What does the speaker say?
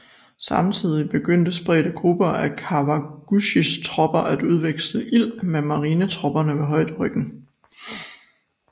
Samtidig begyndte spredte grupper af Kawaguchis tropper at udveksle ild med marinetropperne ved højderyggen